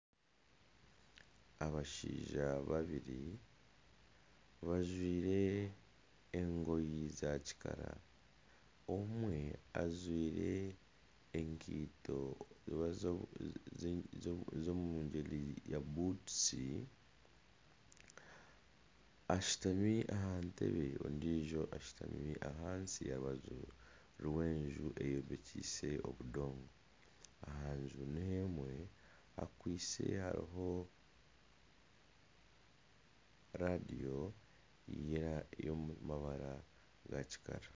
Abashaija babiri bajwaire engoye zakikara ondiijo ajwaire enkaito z'omu muringo gwa buutusi. Ashutami aha ntebe ondiijo ashutami ahansi aha rubaju rw'enju eyombekyeise obudongo. Aha nju niyo emwe hakwaitse hariho reediyo y'omu mabara ga kikara.